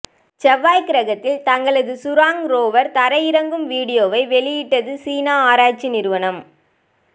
செவ்வாய் கிரகத்தில் தங்களது சுராங் ரோவர் தரை இறங்கும் வீடியோவை வெளியிட்டது சீனா ஆராய்ச்சி நிறுவனம்